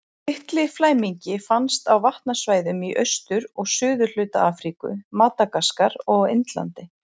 Litli flæmingi finnst á vatnasvæðum í austur- og suðurhluta Afríku, Madagaskar og á Indlandi.